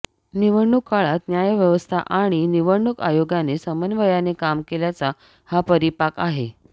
निवडणूक काळात न्यायव्यवस्था आणि निवडणूक आयोगाने समन्वयाने काम केल्याचा हा परिपाक आहे